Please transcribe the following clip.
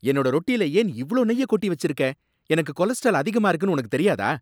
என்னோட ரொட்டில ஏன் இவ்ளோ நெய்ய கொட்டி வச்சிருக்க, எனக்கு கொலஸ்ட்ரால் அதிகமா இருக்குனு உனக்கு தெரியாதா?